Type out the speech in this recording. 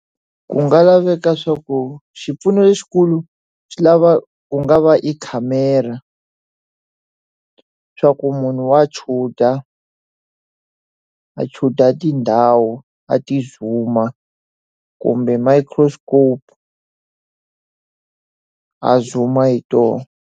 Ku nga laveka swa ku xipfuno lexikulu swi lava ku nga va ekhamera. Swa ku munhu wa shoot-a, a shoot-a tindhawu a ti zoom-a kumbe microscope. A zoom-a hi tona.